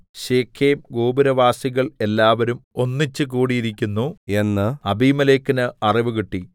ശെഖേംഗോപുരവാസികൾ എല്ലാവരും ഒന്നിച്ചുകൂടിയിരിക്കുന്നു എന്ന് അബീമേലെക്കിന് അറിവുകിട്ടി